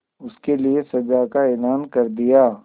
उसके लिए सजा का ऐलान कर दिया